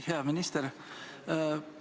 Hea minister!